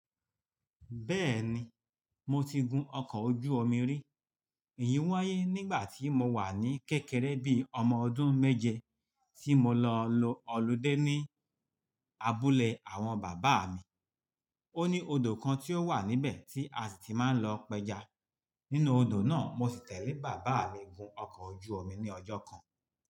Bẹ́ẹ̀ni, mo ti gun ọkọ̀ ojú omi rí. Èyí wáyé nígbà tí mo wà ní kékeré bíi ọmọ ọdún méje tí mo lọ lọ Olude ní abúlé àwọn bàbá mi. Ó ní odò kan tí ó wà níbẹ̀ tí a sì ti máa ń lọ pẹja. Nínú odò náà, mo sì tẹ̀lé bàbá mi gun ọkọ̀ ojú omi ní ọjọ́ kan.